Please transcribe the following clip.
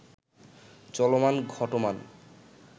চলমান ঘটমান